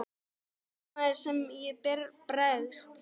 En þarna er það sem ég bregst.